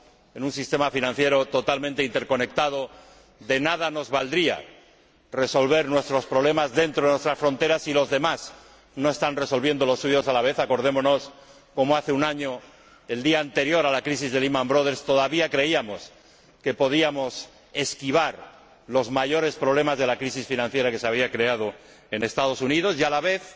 En un sistema financiero totalmente interconectado, de nada nos valdría resolver nuestros problemas dentro de nuestras fronteras si los demás no están resolviendo los suyos a la vez —acordémonos de cómo hace un año, el día anterior a la crisis de Lehman Brothers todavía creíamos que podíamos esquivar los mayores problemas de la crisis financiera que se había creado en Estados Unidos— y, a la vez,